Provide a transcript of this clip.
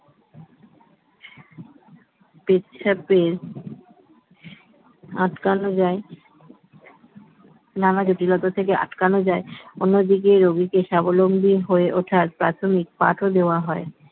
পেচ্ছাপের আটকানো যায় নানা জটিলতা থেকে আটকানো যায় অন্যদিকে রোগীকে স্বাবলম্বী হয়ে ওঠার প্রাথমিক পাঠ ও দেয়া হয়